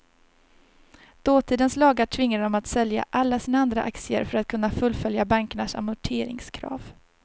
Dåtidens lagar tvingade dem att sälja alla sina andra aktier för att kunna fullfölja bankernas amorteringskrav.